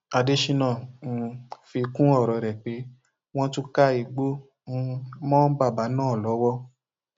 adésínà um fi kún ọrọ rẹ pé wọn tún ká igbó um mọ bàbá náà lọwọ